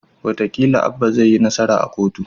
Wataƙila Abba zai yi nasara a kotu